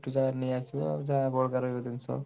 ନେଇଆସିବା ଆଉ ଯାହା ବଳକା ରହିବ ଜିନିଷ।